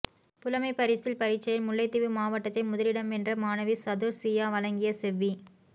புலமைப்பரிசில் பரீட்சையில் முல்லைத்தீவு மாவட்டத்தில் முதலிடம் வென்ற மாணவி சதுர்சியா வழங்கிய செவ்வி